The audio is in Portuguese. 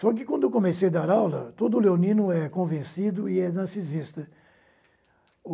Só que, quando comecei a dar aula, todo leonino é convencido e é narcisista.